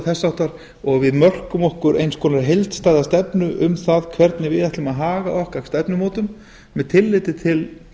þess háttar og við mörkum okkur eins konar heildstæða stefnu um það hvernig við ætlum að haga okkar stefnumótun með tilliti til